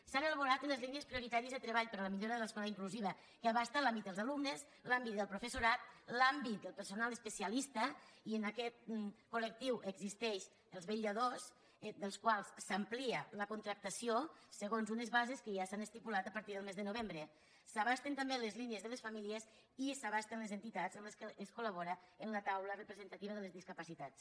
s’han elaborat unes línies prioritàries de treball per a la millora de l’escola inclusiva que abasta l’àmbit dels alumnes l’àmbit del professoral l’àmbit del personal especialista i en aquest coldels quals s’amplia la contractació segons unes bases que ja s’han estipulat a partir del mes de novembre s’abasten també les línies de les famílies i s’abasten les entitats amb les quals es col·labora en la taula representativa de les discapacitats